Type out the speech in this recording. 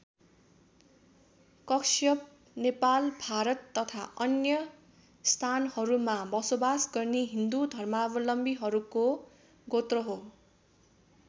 कश्यप नेपाल भारत तथा अन्य स्थानहरूमा बसोबास गर्ने हिन्दू धर्मावलम्बीहरूको गोत्र हो।